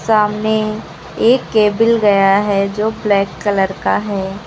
सामने एक केबिल गया है जो ब्लैक कलर का है।